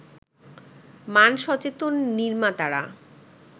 মান-সচেতন নির্মাতারা